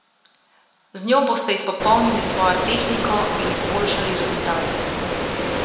Z njo boste izpopolnili svojo tehniko in izboljšali rezultate.